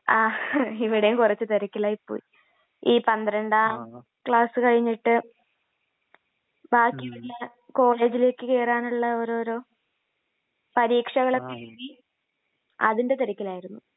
ആങ്..ഹ.. ഇവിടെയും കുറച്ചു തിരക്കിലായിപ്പോയി. ഈ പന്ത്രണ്ടാം ക്ലാസ് കഴിഞ്ഞിട്ട് ബാക്കിയുള്ള... കോളേജിലേക്ക് കേറാനുള്ള ഓരോരോ...പരീക്ഷകളൊക്കെ എഴുതി...അതിൻ്റെ തിരക്കിലായിരുന്നു.